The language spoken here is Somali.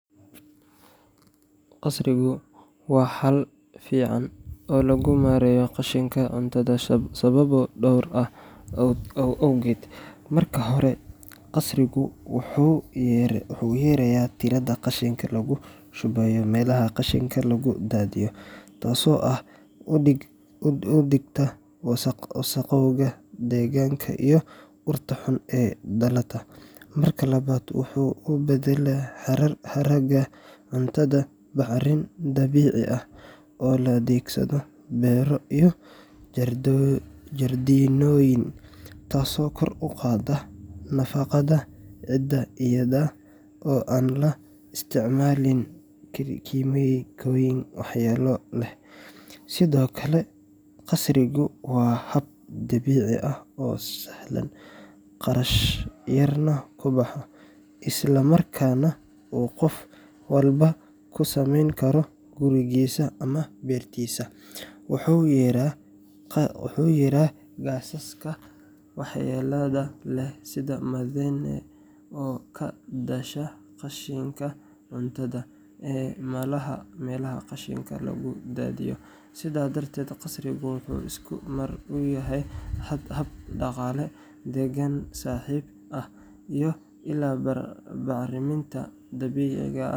Qasrigu waa xal fiican oo lagu maareeyo qashinka cuntada sababo dhowr ah awgood. Marka hore, qasrigu wuxuu yareeyaa tirada qashinka lagu shubo meelaha qashinka lagu daadiyo, taasoo hoos u dhigta wasakhowga deegaanka iyo urta xun ee ka dhalata. Marka labaad, wuxuu u beddelaa haraaga cuntada bacrin dabiici ah oo loo adeegsado beero iyo jardiinooyin, taasoo kor u qaadda nafaqada ciidda iyada oo aan la isticmaalin kiimikooyin waxyeelo leh. Sidoo kale, qasrigu waa hab dabiici ah oo sahlan, kharash yarna ku baxo, isla markaana uu qof walba ku samayn karo gurigiisa ama beertiisa. Wuxuu yareeyaa gaasaska waxyeellada leh sida methane oo ka dhasha qashinka cuntada ee meelaha qashinka lagu daadiyo. Sidaas darteed, qasrigu wuxuu isku mar u yahay hab dhaqaale, deegaan-saaxiib ah, iyo il bacriminta dabiiciga ah.